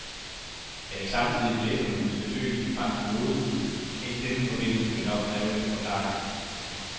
At vi samtidig kan læse om hendes besøg i de franske modehuse, kan i denne forbindelse vel nok kræve lidt forklaring.